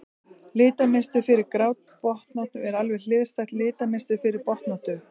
litamynstur fyrir grábotnóttu er alveg hliðstætt litamynstri fyrir botnóttu